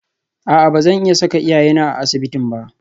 A'a ba zan iya saka iyayena a asibitin ba